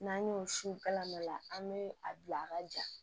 N'an y'o siw kala nɔ an bɛ a bila a ka ja